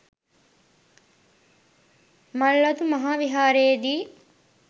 මල්වතු මහා විහාරයේදී